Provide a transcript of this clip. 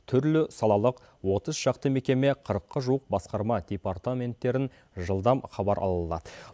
түрлі салалық отыз шақты мекеме қырыққа жуық басқарма департаменттерін жылдам хабар ала алады